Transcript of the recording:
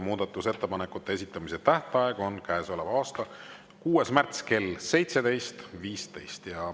Muudatusettepanekute esitamise tähtaeg on käesoleva aasta 6. märts kell 17.15.